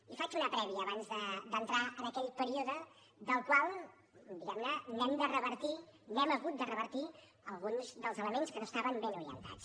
i faig una prèvia abans d’entrar en aquell període del qual diguem ne n’hem de revertir n’hem hagut de revertir alguns dels elements que no estaven ben orientats